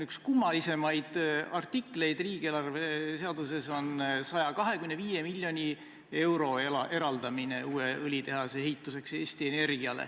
Üks kummalisemaid artikleid riigieelarve seaduses on 125 miljoni euro eraldamine Eesti Energiale uue õlitehase ehituseks.